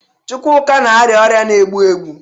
Chukwuka na-arịa ọrịa na-egbu egbu.